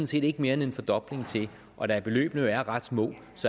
set ikke mere end en fordobling til og da beløbene jo er ret små